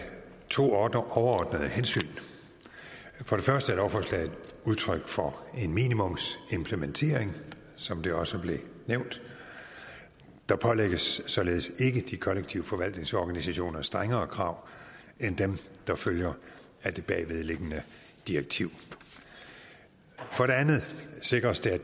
to overordnede hensyn for det første er lovforslaget udtryk for en minimumsimplementering som det også blev nævnt der pålægges således ikke kollektiv forvaltnings organisationerne strengere krav end dem der følger af det bagvedliggende direktiv for det andet sikres det at